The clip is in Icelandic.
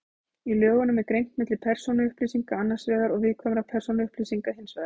Í lögunum er greint milli persónuupplýsinga annars vegar og viðkvæmra persónuupplýsinga hins vegar.